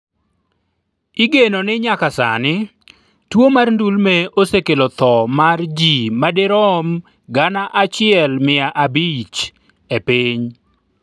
igeno ni nyaka sani, tuo mar ndulme osekelo tho mar jii madirom gana achiel mia abich e piny